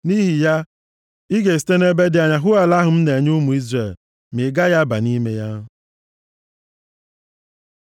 Nʼihi ya, ị ga-esite nʼebe dị anya hụ ala ahụ m na-enye ụmụ Izrel, ma ị gaghị aba nʼime ya.”